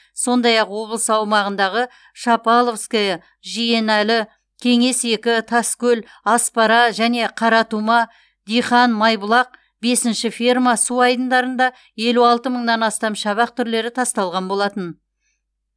сондай ақ облыс аумағындағы шапаловское жиеналы кеңес екі таскөл аспара және қаратума дихан майбұлақ бесінші ферма су айдындарында елу алты мыңнан астам шабақ түрлері тасталған болатын